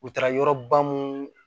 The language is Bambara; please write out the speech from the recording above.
U taara yɔrɔ ba mun